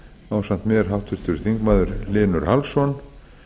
ásamt mér háttvirtir þingamður hlynur hallsson